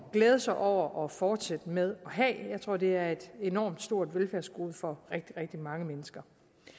glæde sig over og fortsætte med at have jeg tror det er et enormt stort velfærdsgode for rigtig rigtig mange mennesker